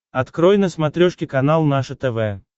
открой на смотрешке канал наше тв